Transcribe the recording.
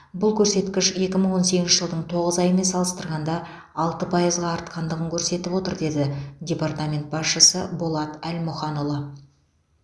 бұл көрсеткіш екі мың он сегізінші жылдың тоғыз айымен салыстырғанда алты пайызға артқандығын көрсетіп отыр деді департамент басшысы болат әлмұханұлы